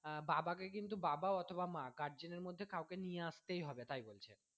আহ বাবা কে কিন্তু বাবা অথবা মা guardian এর মধ্যে কাউকে নিয়ে আসতেই হবে তাই বলছে